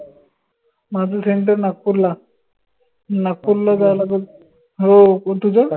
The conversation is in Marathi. माझं center नागपूरला नागपूरला जावं लागलं हो तुझं?